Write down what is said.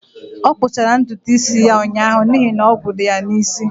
Ọ kpụchara ntutu isi ya ụnyaahụ n'ihi na ogwu dị ya n'isi